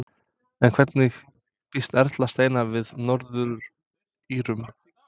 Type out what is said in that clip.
En hvernig býst Erla Steina við Norður-Írum?